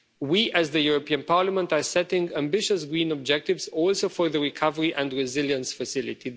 We, as the European Parliament, are setting ambitious green objectives, including for the recovery and resilience facility.